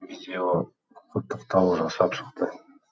видео құттықтау жасап шықты